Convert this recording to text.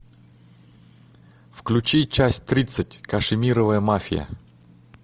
включи часть тридцать кашемировая мафия